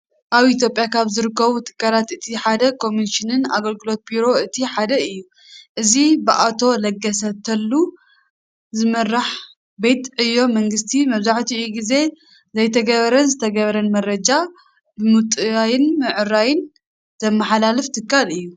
ኣብ ኢትዮጵያ ካብ ዝረከቡ ትካላት እቲ ሓደ ኮሚኒኬሽንን ኣገልግሎት ቢሮ እቲ ሓደ እዩ። እዚ ብኣቶ ለገሰ ትሉ ዝምራሕ ቤት ዕዩ መንግስቲ መብዛሕቲኡ ግዜ ዘይተገበረን ዝተገበረን መረጃ ብምጥዋይን ብምዕራይ ዘመሓላልፍ ትካል እዩ።